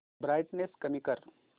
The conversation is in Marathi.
ब्राईटनेस कमी कर